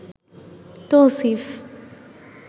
Tausif